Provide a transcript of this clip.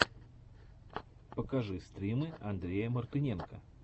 покажи стримы андрея мартыненко